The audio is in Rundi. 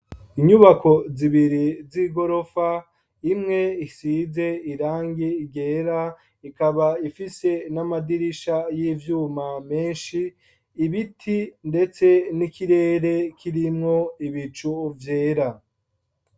Inyubako zibiri z'igorofa imwe isize irangi ryera, ikaba ifise n'amadirisha y'ivyuma menshi, ibiti ndetse n'ikirere kirimwo ibicu vyera.